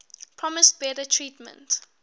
promised better treatment